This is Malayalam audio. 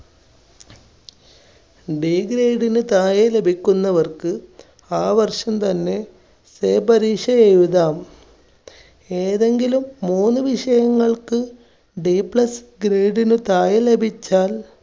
Dgrade ന് താഴെ ലഭിക്കുന്നവർക്ക് ആ വർഷം തന്നെ say പരീക്ഷ എഴുതാം. ഏതെങ്കിലും മൂന്ന് വിഷയങ്ങൾക്ക് Dplus grade ന് താഴെ ലഭിച്ചാൽ